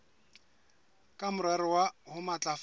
ka morero wa ho matlafatsa